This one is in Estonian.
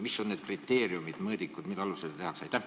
Mis on need kriteeriumid, mõõdikud, mille alusel seda tehakse?